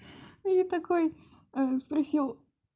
и такой ээ спросил